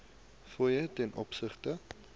fooie ten opsigte